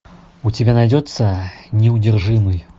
у тебя найдется неудержимый